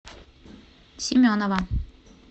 семенова